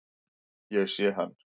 Ég sé hann.